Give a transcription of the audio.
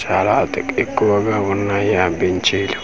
చాలా దిక్ ఎక్కువగా ఉన్నాయి అబ్బించేలు .]